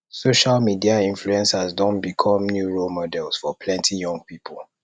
social media influencers don become new role models for plenty young pipo